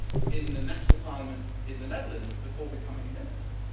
in the national parliament in the Netherlands before becoming a Minister.